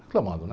Reclamando, né?